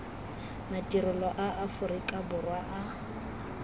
madirelo a aforika borwa a